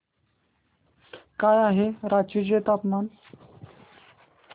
काय आहे रांची चे तापमान